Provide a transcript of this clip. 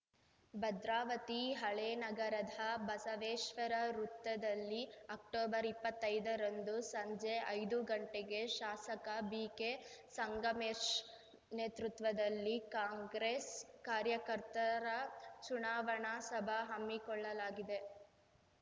ಭದ್ರಾವತಿ ಹಳೇನಗರದ ಬಸವೇಶ್ವರ ವೃತ್ತದಲ್ಲಿ ಅಕ್ಟೊಬರ್ಇಪ್ಪತ್ತೈದರಂದು ಸಂಜೆ ಐದು ಗಂಟೆಗೆ ಶಾಸಕ ಬಿಕೆ ಸಂಗಮೇಶ್ ನೇತೃತ್ವದಲ್ಲಿ ಕಾಂಗ್ರೆಸ್‌ ಕಾರ್ಯಕರ್ತರ ಚುನಾವಣಾ ಸಭ ಹಮ್ಮಿಕೊಳ್ಳಲಾಗಿದೆ